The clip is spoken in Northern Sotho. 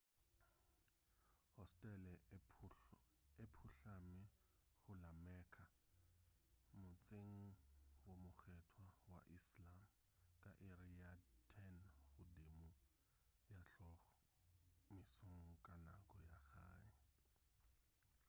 hosetele e phuhlame go la mecca motseng wo mokgethwa wa islam ka iri ya 10 godimo ga hlogo mesong ka nako ya gae